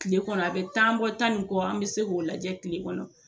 Tile kɔnɔ a bɛ tan bɔ tan ni kɔ an bɛ se k'o lajɛ tile kɔnɔ.